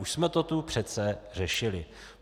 Už jsme to tu přece řešili!